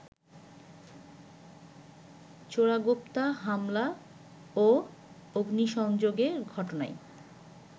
চোরাগোপ্তা হামলা ও অগ্নিসংযোগে ঘটনায়